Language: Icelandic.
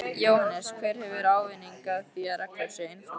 Jóhannes: Hver hefur ávinning af því að reglur séu einfaldaðar?